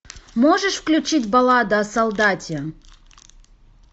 можешь включить баллада о солдате